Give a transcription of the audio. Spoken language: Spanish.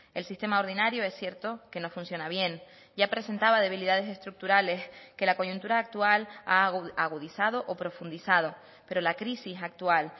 el sistema ordinario es cierto que no funciona bien ya presentaba debilidades estructurales que la coyuntura actual ha agudizado o profundizado pero la crisis actual